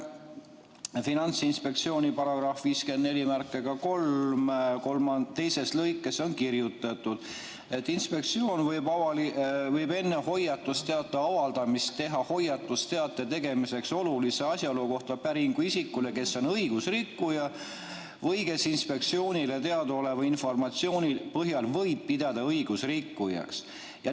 Finantsinspektsiooni § 543 teises lõikes on kirjutatud, et inspektsioon võib enne hoiatusteate avaldamist teha hoiatusteate tegemiseks oluliste asjaolude kohta päringu isikule, kes on õigusrikkuja või keda võib inspektsioonile teadaoleva informatsiooni põhjal pidada õigusrikkujaks.